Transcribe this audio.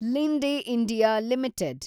Linde India limited